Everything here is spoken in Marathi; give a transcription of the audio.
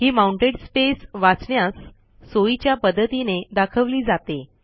ही माउंटेड स्पेस वाचण्यास सोयीच्या पद्धतीने दाखवली जाते